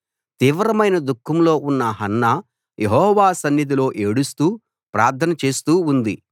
తీవ్రమైన దుఃఖంలో ఉన్న హన్నా యెహోవా సన్నిధిలో ఏడుస్తూ ప్రార్థన చేస్తూ ఉంది